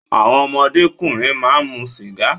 Àwọn ọmọdé ọkùnrin máa mu sìgá.